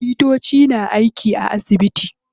Likitoci na aiki a asibiti.